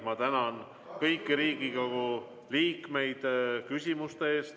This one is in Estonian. Ma tänan kõiki Riigikogu liikmeid küsimuste eest!